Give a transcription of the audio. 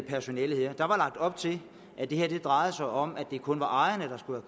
personalet der var lagt op til at det her drejede sig om at det kun var ejerne der skulle